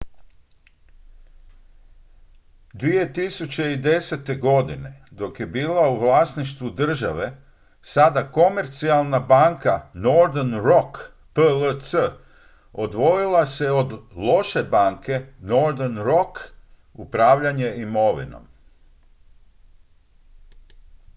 2010. godine dok je bila u vlasništvu države sada komercijalna banka northern rock plc odvojila se od loše banke” northern rock upravljanje imovinom